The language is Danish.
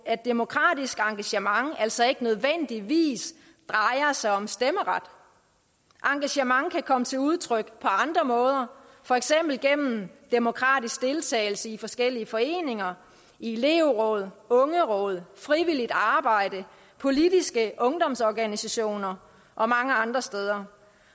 at demokratisk engagement altså ikke nødvendigvis drejer sig om stemmeret engagement kan komme til udtryk på andre måder for eksempel gennem demokratisk deltagelse i forskellige foreninger i elevråd ungeråd frivilligt arbejde politiske ungdomsorganisationer og mange andre steder